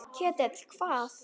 Ketill hvað?